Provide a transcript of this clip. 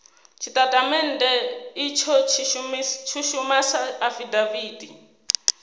tshitatamennde itsho tshi shuma sa afidaviti